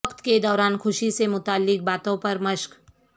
وقت کے دوران خوشی سے متعلق باتوں پر مشق